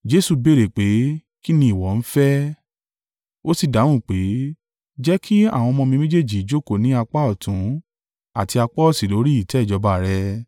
Jesu béèrè pé, “Kí ni ìwọ ń fẹ́?” Ó sì dáhùn pé, “Jẹ́ kí àwọn ọmọ mi méjèèjì jókòó ní apá ọ̀tún àti apá òsì lórí ìtẹ́ ìjọba rẹ?”